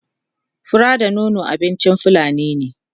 fura da nono abincin fulani ne